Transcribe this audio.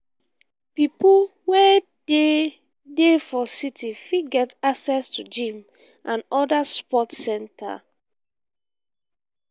pipo wey dey dey for city fit get access to gym and oda sport center